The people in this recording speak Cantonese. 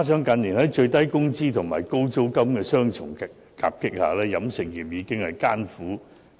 近年，在最低工資及高租金的雙重夾擊下，飲食業已是舉步維艱。